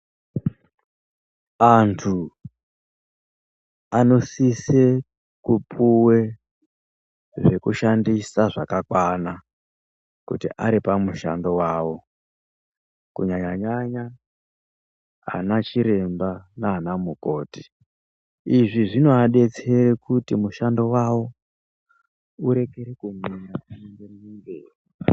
Antu anosise kupuwe zvekushandisa zvakakwana kuti ari pamushando wavo. Kunyanya nyanya vana chiremba nana mukoti, izvi zvinovadetsera kuti mushando wavo uregere kumira uyenderere mberi.